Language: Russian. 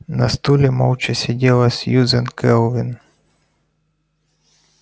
на стуле молча сидела сьюзен кэлвин